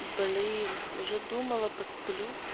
блин уже думала посплю